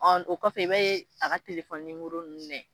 Ɔ o kɔfɛ i be a ka telefɔni numoro nunnu nayɛ